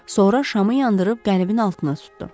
Sonra şamı yandırıb qəlibin altına tutdu.